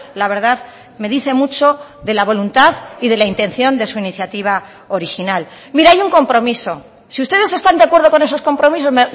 la verdad me dice mucho de la voluntad y de la intención de su iniciativa original mire hay un compromiso si ustedes están de acuerdo con esos compromisos